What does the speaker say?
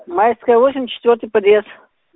майская восемь четвёрьый подъезд